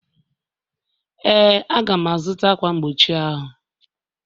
Ee, Aga m-azụta ákwà mgbochi ahụ